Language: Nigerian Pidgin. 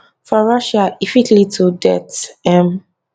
for russia e fit lead to death um